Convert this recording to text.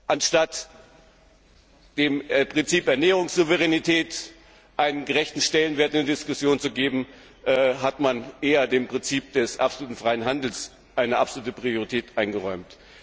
Anstatt dem Prinzip Ernährungssouveränität einen gerechten Stellenwert in der Diskussion zu geben, hat man eher dem Prinzip des absoluten freien Handels eine absolute Priorität eingeräumt.